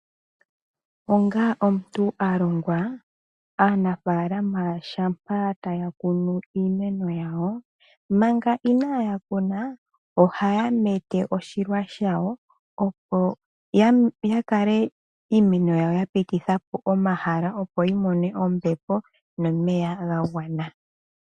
Onga omuntu a longwa, aanafalama taya kunu iimeno yawo manga inaya kuna, ohaya mete oshilwa shawo opo ya kale iimeno yawo ya pititha po omahala, opo ti mone ombepo nomeya ga gwana.